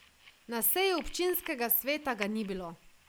Na seji občinskega sveta ga ni bilo.